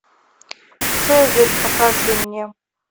цезарь покажи мне